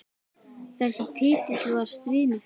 Þessi titill var stríðni fyrst.